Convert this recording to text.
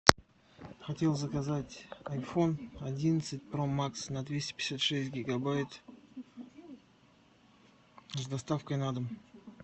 хотел заказать айфон одиннадцать про макс на двести пятьдесят шесть гигабайт с доставкой на дом